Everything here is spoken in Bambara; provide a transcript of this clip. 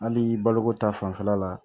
Hali baloko ta fanfɛla la